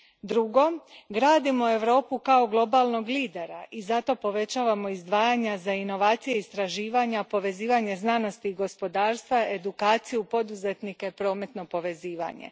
Drugo, gradimo Europu kao globalnog lidera i zato povećavamo izdvajanja za inovacije, istraživanja, povezivanje znanosti i gospodarstva, edukaciju, poduzetnike, prometno povezivanje.